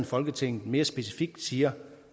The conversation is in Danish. folketinget mere specifikt siger